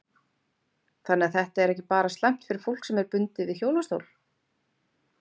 Þannig að þetta er ekki bara slæmt fyrir fólk sem er bundið við hjólastól?